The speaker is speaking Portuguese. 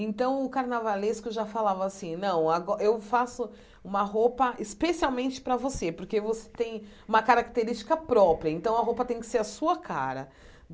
Então o carnavalesco já falava assim, não, ago eu faço uma roupa especialmente para você, porque você tem uma característica própria, então a roupa tem que ser a sua cara.